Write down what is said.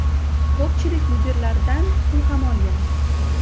Ko‘pchilik mudiralardan pul ham olgan.